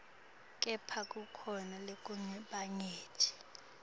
kepha kukhona lokunyenti